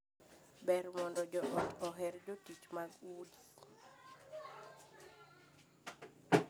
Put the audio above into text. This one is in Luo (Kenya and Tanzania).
Ber mondo joot oher jotich mag udi.